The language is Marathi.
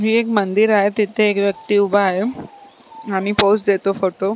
हे एक मंदिर आहे तिथे एक व्यक्ती उभा आहे आणि पोज देतो फोटो .